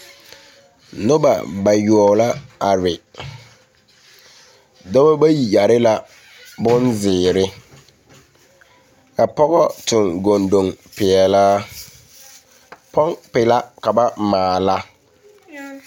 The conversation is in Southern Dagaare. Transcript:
Noba bayoɔbo la are dɔbɔ bayi yare la boŋ zeere ka a pɔge tɔŋ kondoŋ peɛlaa pompi la ka ba maala.